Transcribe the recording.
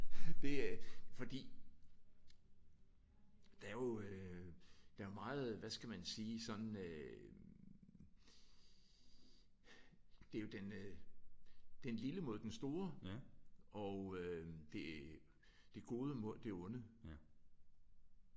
Det er fordi der er jo øh der er jo meget hvad skal man sige sådan øh det er jo den øh den lille mod den store og øh det det gode mod det onde